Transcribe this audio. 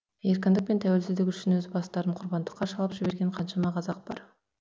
еркіндік пен тәуелсіздік үшін өз бастарын құрбандыққа шалып жіберген қаншама қазақ бар